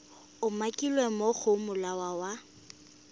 umakilweng mo go molawana wa